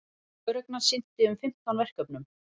Lögreglan sinnti um fimmtán verkefnum